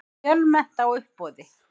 Fjölmennt á uppboði